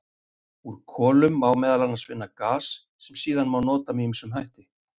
Úr kolum má meðal annars vinna gas sem síðan má nota með ýmsum hætti.